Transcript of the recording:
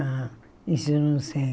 Ah, isso eu não sei.